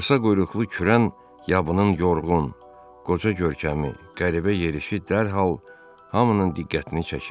Qısa quyruqlu kürən yabının yorğun, qoca görkəmi, qəribə yerişi dərhal hamının diqqətini çəkirdi.